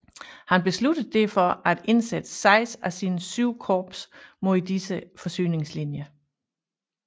Han besluttede derfor at indsætte seks af sine syv korps mod disse forsyningslinjer